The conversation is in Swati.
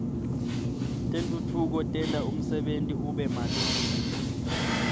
tentfutfuko tenta umsebenti ube malula